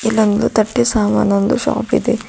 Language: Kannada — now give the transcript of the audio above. ಇಲ್ಲೊಂದು ತಟ್ಟೆ ಸಾಮನ್ ಒಂದು ಶಾಪ್ ಇದೆ.